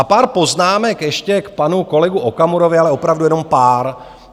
A pár poznámek ještě k panu kolegovi Okamurovi, ale opravdu jenom pár.